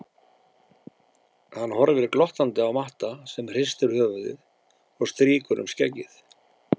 Hann horfir glottandi á Matta sem hristir höfuðið og strýkur um skeggið.